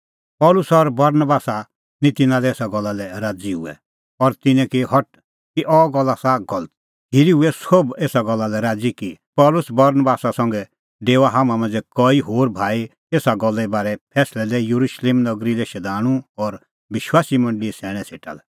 पल़सी और बरनबास निं तिन्नें एसा गल्ला लै राज़ी हुऐ और तिन्नैं की हठ कि अह गल्ल आसा गलत खिरी हुऐ सोभ एसा गल्ला लै राज़ी कि पल़सी बरनबासा संघै डेओआ हाम्हां मांझ़ै कई होर भाई एसा गल्ले बारै फैंसलै लै येरुशलेम नगरी लै शधाणूं और विश्वासी मंडल़ीए सैणैं सेटा लै